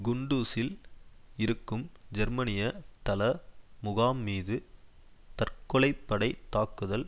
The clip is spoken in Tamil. குண்டுஸில் இருக்கும் ஜெர்மனிய தள முகாம் மீது தற்கொலைப்படைத் தாக்குதல்